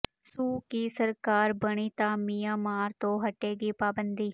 ਸੂ ਕੀ ਸਰਕਾਰ ਬਣੀ ਤਾਂ ਮਿਆਂਮਾਰ ਤੋਂ ਹਟੇਗੀ ਪਾਬੰਦੀ